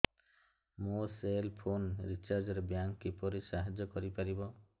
ମୋ cell phone recharge ରେ bank କିପରି ସାହାଯ୍ୟ କରିପାରିବ